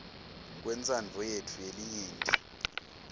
kwentsandvo yetfu yelinyenti